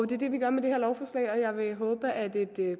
det er det vi gør med det her lovforslag og jeg vil håbe at et